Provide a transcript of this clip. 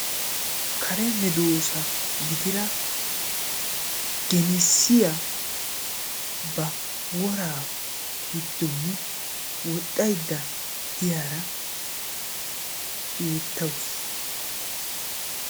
Kare medoosa gidira genessiya ba woraa giddooni woxxayidda diyaara beettawusu.